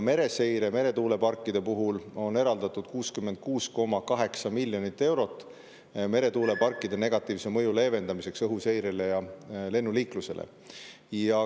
66,8 miljonit eurot on eraldatud meretuuleparkide negatiivse mõju leevendamiseks õhuseirele ja lennuliiklusele.